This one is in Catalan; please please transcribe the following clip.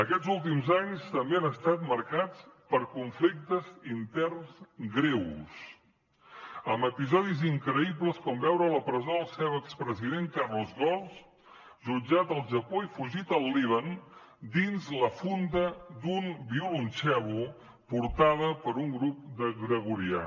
aquests últims anys també han estat marcats per conflictes interns greus amb episodis increïbles com veure a la presó el seu expresident carlos ghosn jutjat al japó i fugit al líban dins la funda d’un violoncel portada per un grup de gregorià